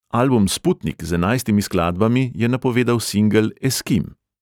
Album sputnik z enajstimi skladbami je napovedal singel eskim.